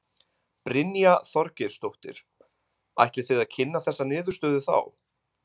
Brynja Þorgeirsdóttir: Ætlið þið að kynna þessa niðurstöðu þá?